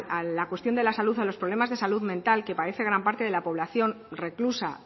a la cuestión de la salud o los problemas de salud mental que padece gran parte de la población reclusa